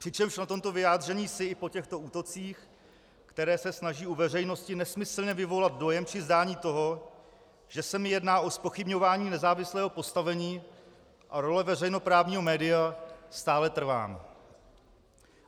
Přičemž na tomto vyjádření si i po těchto útocích, které se snaží u veřejnosti nesmyslně vyvolat dojem či zdání toho, že se mi jedná o zpochybňování nezávislého postavení a role veřejnoprávního média, stále trvám.